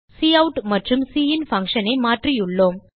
cout மற்றும் cin functionஐ மாற்றியுள்ளோம்